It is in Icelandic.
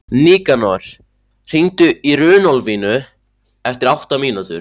Nikanor, hringdu í Runólfínu eftir átta mínútur.